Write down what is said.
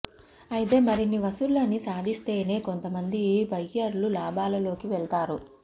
అయితే మరిన్ని వసూళ్ల ని సాధిస్తేనే కొంతమంది బయ్యర్లు లాభాలలోకి వెళ్తారు